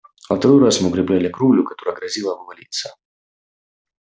во второй раз мы укрепляли кровлю которая грозила обвалиться